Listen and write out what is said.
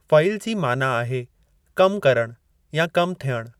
फ़इल जी माना आहे कमु करणु या कमु थियणु।